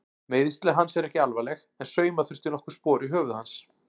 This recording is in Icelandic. Meiðsli hans eru ekki alvarleg en sauma þurfti nokkur spor í höfuð hans.